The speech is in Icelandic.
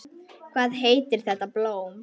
Hvað heitir þetta blóm?